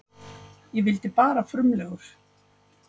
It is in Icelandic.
Ég vildi bara frumlegur.